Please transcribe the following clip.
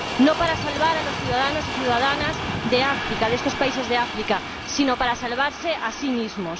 No para salvar a los ciudadanos y ciudadanas de estos países de África, sino para salvarse a sí mismos.